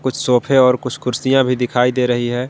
कुछ सोफे और कुछ कुर्सियां भी दिखाई दे रही हैं।